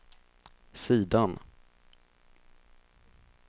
sidan